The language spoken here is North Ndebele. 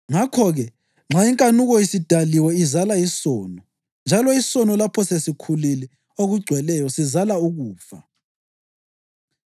Ngakho-ke, nxa inkanuko isidaliwe izala isono; njalo isono lapho sesikhulile okugcweleyo, sizala ukufa.